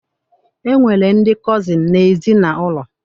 E nwere ndị kọzịn n'ezinaụlọ